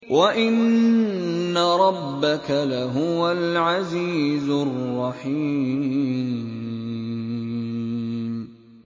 وَإِنَّ رَبَّكَ لَهُوَ الْعَزِيزُ الرَّحِيمُ